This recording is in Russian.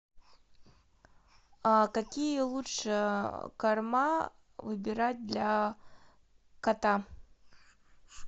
какие лучше корма выбирать для кота